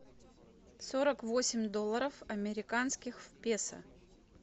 сорок восемь долларов американских в песо